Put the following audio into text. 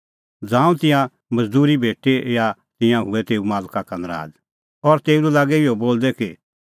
ज़ांऊं तिन्नां मज़दूरी भेटी ता तिंयां हुऐ तेऊ मालका का नराज़ और तेऊ लै लागै इहअ बोलदै कि